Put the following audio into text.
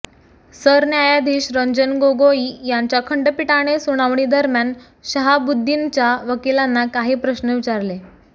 सरन्यायाधीश रंजन गोगोई यांच्या खंडपीठाने सुनावणी दरम्यान शहाबुद्दीनच्या वकिलांना काही प्रश्न विचारले